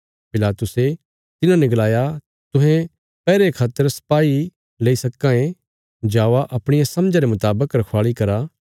पिलातुसे तिन्हाने गलाया तुहें पैहरे खातर सपाई लेई सक्कां ये जावा अपणिया समझा रे मुतावक रखवाल़ी करा